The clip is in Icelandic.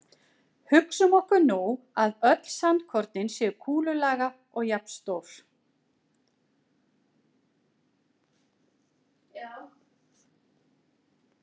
Hugsum okkur nú að öll sandkornin séu kúlulaga og jafnstór.